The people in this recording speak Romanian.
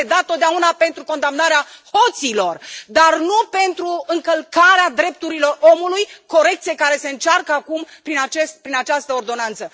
Am pledat întotdeauna pentru condamnarea hoților, dar nu pentru încălcarea drepturilor omului, corecție care se încearcă acum prin această ordonanță.